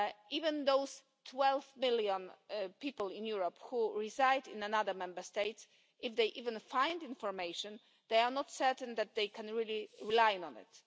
Even those twelve million people in Europe who reside in another Member State if they even find information, they are not certain that they can really rely on it.